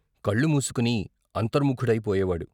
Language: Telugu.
కళ్ళు మూసుకుని అంతర్ముఖుడై పోయేవాడు.